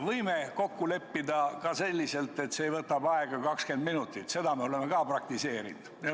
Võime kokku leppida ka selliselt, et see võtab aega 20 minutit, seda me oleme samuti praktiseerinud.